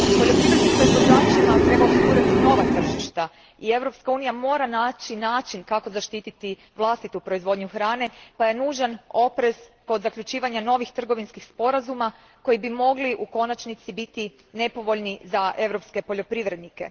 Poljoprivrednim proizvođačima treba osigurati nova tržišta i Europska unija mora naći način kako zaštiti vlastitu proizvodnju hrane pa je nužan oprez kod zaključivanja novih trgovinskih sporazuma koji bi u konačnici mogli biti nepovoljni za europske poljoprivrednike.